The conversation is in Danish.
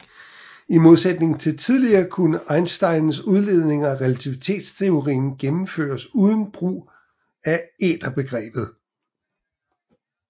I modsætning til tidligere kunne Einsteins udledninger af relativitetsteorien gennemføres uden brug af æterbegrebet